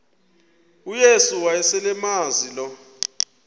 uyesu wayeselemazi lo